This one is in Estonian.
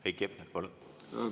Heiki Hepner, palun!